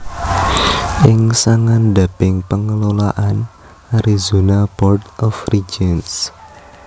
ing sangandhaping pengelolaan Arizona Board of Regents